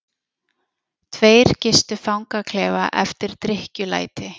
Tveir gistu fangaklefa eftir drykkjulæti